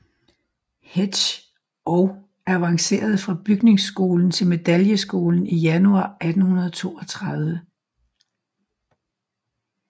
Hetsch og avancerede fra bygningsskolen til medaljeskolen januar 1832